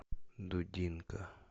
дудинка